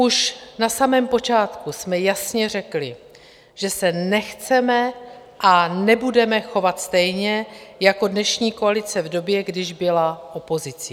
Už na samém počátku jsme jasně řekli, že se nechceme a nebudeme chovat stejně jako dnešní koalice v době, když byla opozicí.